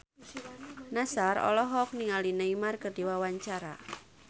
Nassar olohok ningali Neymar keur diwawancara